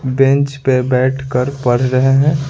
Bench पर बैठकर पढ़ रहे हैं।